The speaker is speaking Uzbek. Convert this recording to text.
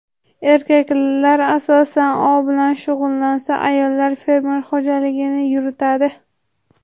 Erkaklar asosan ov bilan shug‘ullansa, ayollar fermer xo‘jaligini yuritadi.